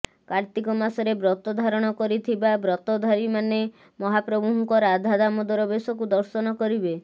କାର୍ତ୍ତିକମାସରେ ବ୍ରତ ଧାରଣ କରିଥିବା ବ୍ରତଧାରୀମାନେ ମହାପ୍ରଭୁଙ୍କ ରାଧାଦାମୋଦର ବେଶକୁ ଦର୍ଶନ କରିବେ